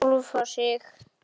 Finna sjálfa sig.